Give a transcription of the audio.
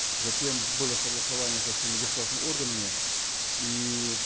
затем было согласование со всеми государственными органами и